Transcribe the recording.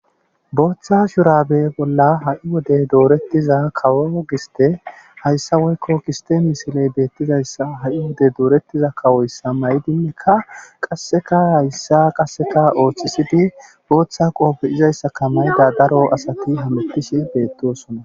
Booththa shurabe bolla ha'i wode dooretida kawo giste woykko giste misile beetizayssa ha'i wode ha'i wode dooretiza kawoyssa mayidi qasseka hayssa qassekka oothisidi booththa qoobe izayssakka mayidayssati hametshe beetosona.